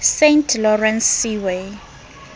saint lawrence seaway